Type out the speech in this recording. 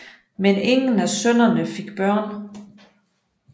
Men ingen af sønnerne fik børn